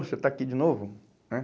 Você está aqui de novo, né?